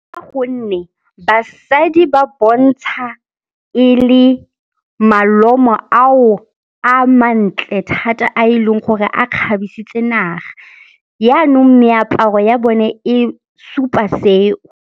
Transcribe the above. Ka gonne basadi ba bontsha e le malomo ao a mantle thata a e leng gore a kgabisitse naga. Yaanong meaparo ya bone e supa seo.